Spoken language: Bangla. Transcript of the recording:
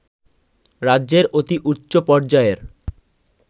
রাজ্যের অতি উচ্চপর্যায়ের